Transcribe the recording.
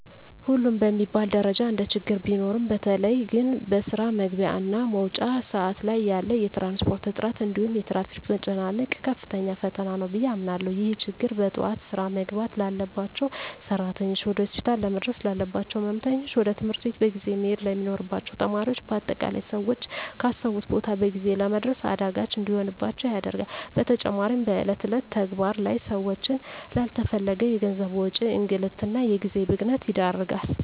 ሁሉም በሚባል ደረጃ እንደችግር ቢኖሩም በተለየ ግን በስራ መግቢያ እና መውጫ ሰአት ላይ ያለ የትራንስፖርት እጥረት እንዲሁም የትራፊክ መጨናነቅ ከፍተኛ ፈተና ነው ብየ አምናለሁ። ይህ ችግር በጠዋት ስራ መግባት ላባቸው ሰራተኞች፣ ወደ ሆስፒታል ለመድረስ ላለባቸው ህመምተኞች፣ ወደ ትምህርት ቤት በጊዜ መሄድ ለሚኖርባቸው ተማሪዎች በአጠቃላይ ሰወች ካሰቡት ቦታ በጊዜ ለመድረስ አዳጋች እንዲሆንባቸው ያደርጋል። በተጨማሪም በእለት እለት ተግባር ላይ ሰወችን ላለተፈለገ የገንዘብ ወጪ፣ እንግልት እና የጊዜ ብክነት ይዳርጋል።